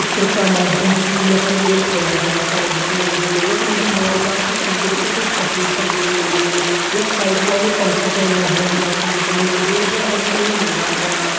चित्र का माध्यम से यखम एक हवाई जहाज करा दिखेण लग्यूं यख मा जी हवाईजहाज कि खिड़की बिटि कुछ तस्वीर छन लियेण लगीं यख साइड वालू पंखा छ या हवाईजहाज कू दिखेण भैर फण हर्यूं-भर्यूं मैदान करा।